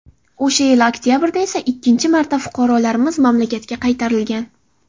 O‘sha yili oktabrda esa ikkinchi marta fuqarolarimiz mamlakatga qaytarilgan.